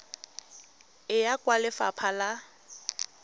e ya kwa lefapha la